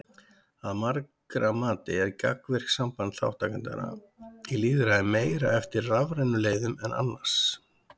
Að margra mati er gagnvirkt samband þátttakenda í lýðræði meira eftir rafrænum leiðum en annars.